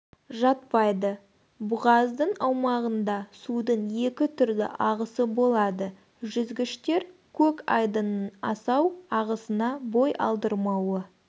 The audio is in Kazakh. жатпайды бұғаздың аумағында судың екі түрлі ағысы болады жүзгіштер көк айдынның асау ағысына бой алдырмауы